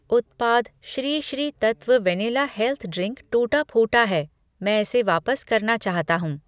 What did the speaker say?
उत्पाद Sri Sri Tattva vanilla health drink टूटा फूटा है, मैं इसे वापस करना चाहता हूँ ।